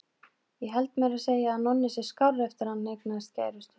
Ég held meira að segja að Nonni sé skárri eftir að hann eignaðist kærustu.